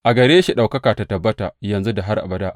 A gare shi ɗaukaka ta tabbata yanzu da har abada!